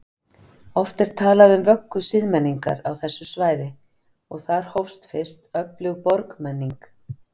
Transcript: Oft er talað um vöggu siðmenningar á þessu svæði og þar hófst fyrst öflug borgmenning.